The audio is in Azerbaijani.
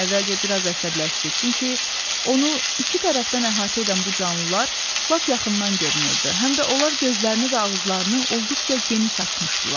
Əvvəlcə bir az əsəbləşdi, çünki onu iki tərəfdən əhatə edən bu canlılar lap yaxından görünürdü, həm də onlar gözlərini və ağızlarını olduqca geniş açmışdılar.